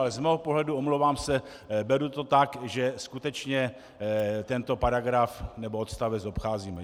Ale z mého pohledu, omlouvám se, beru to tak, že skutečně tento paragraf nebo odstavec obcházíme.